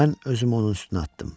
Mən özümü onun üstünə atdım.